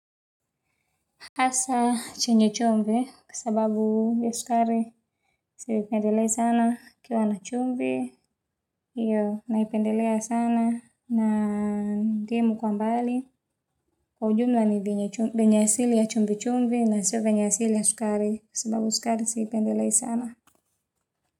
Hasa chenye chumvi, kwa sababu ya sukari sipendelei sana, ikiwa na chumvi, iyo naipendele sana, na ndimu kwa mbali. Kwa ujumla ni vyenye asili ya chumvi chumvi, na sio venye asili ya sukari, kwa sababu sukari siipendelei sana.